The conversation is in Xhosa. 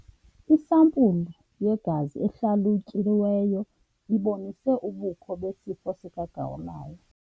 Isampulu yegazi ehlalutyiweyo ibonise ubukho besifo sikagawulayo.